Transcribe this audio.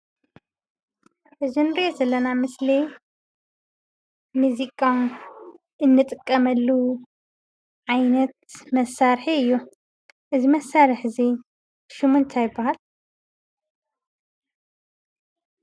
እዚ እንሪኦ ዘለና ምስሊ ሙዚቃ እንጥቀመሉ ዓይነት መሳሪሒ እዩ። እዚ መሳሪሒ እዚ ሽሙ እንታይ ይባሃል?